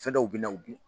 Fɛn dɔw bɛ na u